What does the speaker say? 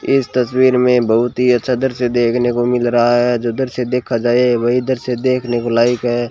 इस तस्वीर मे बहोत ही अच्छा दृश्य देखने को मिल रहा है जो दृश्य देखा जाये वहीं दृश्य देखने को लायक है।